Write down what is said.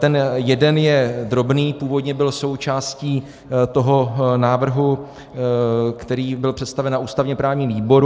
Ten jeden je drobný, původně byl součástí toho návrhu, který byl představen na ústavně-právním výboru.